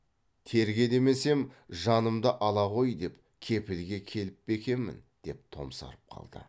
терге демесем жанымды ала ғой деп кепілге келіп пе екемін деп томсарып қалды